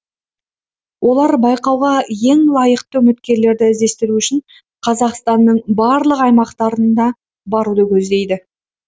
олар байқауға ең лайықты үміткерлерді іздестіру үшін қазақстанның барлық аймақтарына баруды көздейді